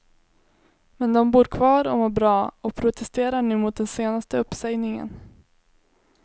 Men de bor kvar och mår bra, och protesterar nu mot den senaste uppsägningen.